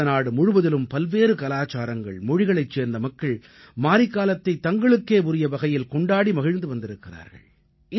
பாரதநாடு முழுவதிலும் பல்வேறு கலாச்சாரங்கள் மொழிகளைச் சேர்ந்த மக்கள் மாரிக்காலத்தைத் தங்களுக்கே உரிய வகையில் கொண்டாடி மகிழ்ந்து வந்திருக்கிறார்கள்